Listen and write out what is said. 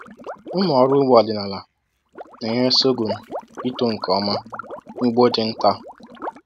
Ụmụ ọrụ ugbo ọdịnala na-enyere sorghum ito nke ọma n’ugbo ndị nta.”